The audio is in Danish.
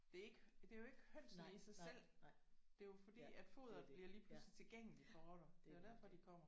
Det er ikke det er jo ikke hønsene i sig selv. Det er jo fordi at foderet bliver pludseligt tilgængeligt for rotter. Det er jo derfor de kommer